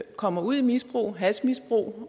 kommer ud i misbrug hashmisbrug